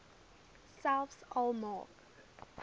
selfs al maak